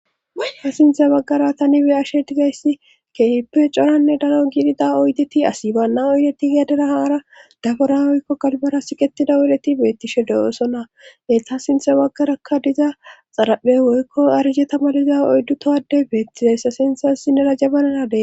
woyka sinthe baggara tani be ashe dizayssi keehippe coranne dalo giidida oydeti asi baanna oydeti gedera haara dabora woykko galbara siqetida oleti beettishe de7ooso na heta sinthe baggarakka diza xaraphe woykko arije tamaliza oyddu towade beettizayssa sinthassi nera jabananade